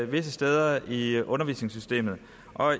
visse steder i undervisningssystemet